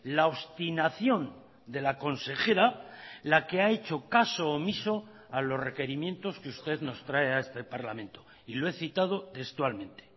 la obstinación de la consejera la que ha hecho caso omiso a los requerimientos que usted nos trae a este parlamento y lo he citado textualmente